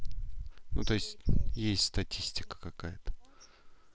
ну то есть есть статистика какая-то